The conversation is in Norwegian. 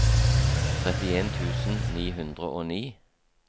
trettien tusen ni hundre og ni